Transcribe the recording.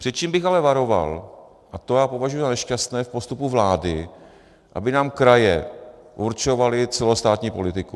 Před čím bych ale varoval, a to já považuji za nešťastné v postupu vlády, aby nám kraje určovaly celostátní politiku.